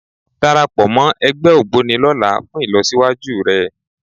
Darapọ̀ mọ́ ẹgbẹ́ Ògboni lọ́la fún ìlọsíwájú rẹ